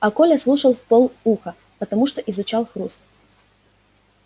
а коля слушал в пол уха потому что изучал хруст